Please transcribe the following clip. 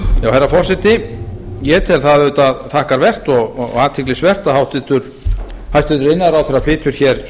herra forseti ég tel það auðvitað þakkarvert og athyglisvert að hæstvirtur iðnaðarráðherra flytur hér